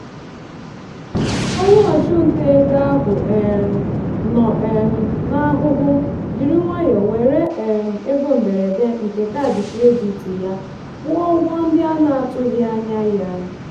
onye ọchụnta ego ahụ um nọ um n'ahụhụ jiri nwayọọ were um ego mberede nke kaadị kredit ya kwụọ ụgwọ ndị a na-atụghị anya ya.